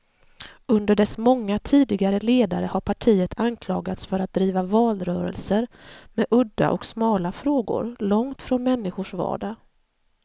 Under dess många tidigare ledare har partiet anklagats för att driva valrörelser med udda och smala frågor, långt från människors vardag.